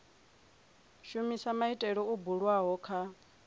shumisa maitele o bulwaho kha